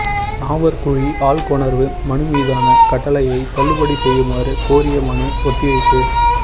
நாவற்குழி ஆள்கொணர்வு மனு மீதான கட்டளையை தள்ளுபடி செய்யுமாறு கோரிய மனு ஒத்திவைப்பு